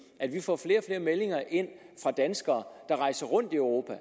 at vi får flere og flere meldinger ind fra danskere der rejser rundt i europa